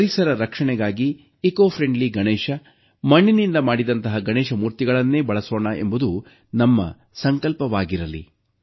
ಪರಿಸರದ ರಕ್ಷಣೆಗಾಗಿ ಪರಿಸರಸ್ನೇಹಿ ಗಣೇಶ ಮಣ್ಣಿನಿಂದ ಮಾಡಿದಂತಹ ಗಣೇಶ ಮೂರ್ತಿಗಳನ್ನೇ ಬಳಸೋಣ ಎಂಬುದು ನಮ್ಮ ಸಂಕಲ್ಪವಾಗಿರಲಿ